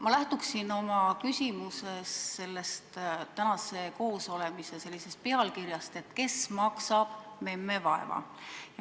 Ma lähtuksin oma küsimuses tänase koosolemise pealkirjast "Kes maksab memme vaeva?".